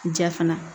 Ja fana